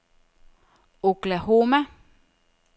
Oklahoma